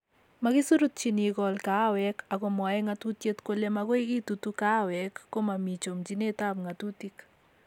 Makisurutyin ikol kahawek ago mwoe ngatutiet kole makoi itutu kahawek komomi chomchinetab ngatutik